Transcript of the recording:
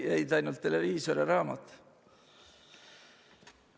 Jäid ainult televiisor ja raamat.